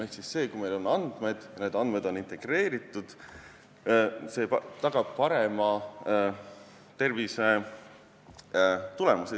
Ehk see, kui meil on andmed ja need on integreeritud, tagab parema tervisetulemuse.